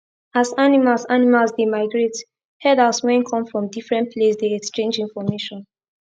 as animals animals dey migrate herders wen come from different place dey exchange information